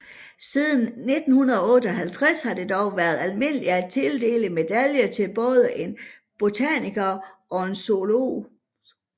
Siden 1958 har det dog været almindeligt at tildele medaljen til både en botaniker og zoolog